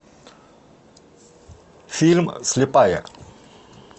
фильм слепая